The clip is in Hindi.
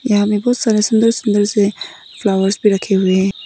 यहां में बहुत सारा सुंदर सुंदर से फ्लावर्स भी रखे हुए हैं।